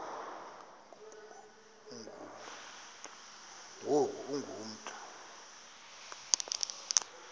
ngoku ungu mntu